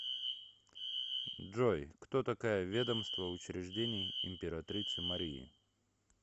джой кто такая ведомство учреждений императрицы марии